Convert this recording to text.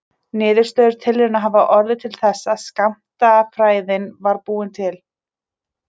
Niðurstöður tilrauna hafa orðið til þess að skammtafræðin var búin til.